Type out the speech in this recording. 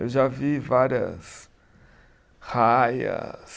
Eu já vi várias raias,